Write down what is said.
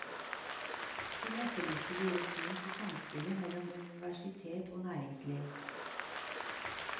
Hun etterlyste deres syn på samspillet mellom universitet og næringsliv.